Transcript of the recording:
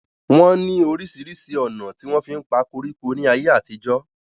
wọ́n ní orísirísi ònà tí wọ́n fí ń pa koríko ní ayé àtijọ́